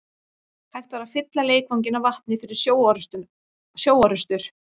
Hægt var að fylla leikvanginn af vatni fyrir sjóorrustur.